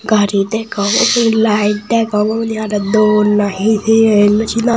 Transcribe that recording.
gari degong uu light degong unni aro dol nahi hejeni no senongor.